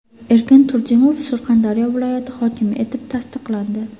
Erkin Turdimov Surxondaryo viloyati hokimi etib tasdiqlandi .